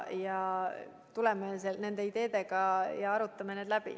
Tuleme nende ideede juurde ja arutame need läbi.